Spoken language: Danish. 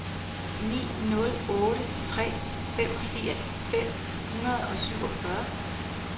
ni nul otte tre femogfirs fem hundrede og syvogfyrre